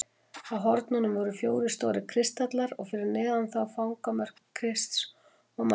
Á hornunum voru fjórir stórir kristallar og fyrir neðan þá fangamörk Krists og Maríu.